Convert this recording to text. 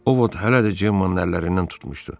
O Vod hələ də Cemanın əllərindən tutmuşdu.